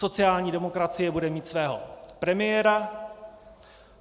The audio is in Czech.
Sociální demokracie bude mít svého premiéra.